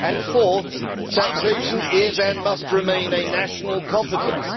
Fourthly, taxation is and must remain a national competence.